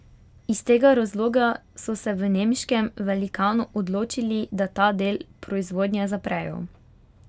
Iz tega razloga so se v nemškem velikanu odločili, da ta del proizvodnje zaprejo.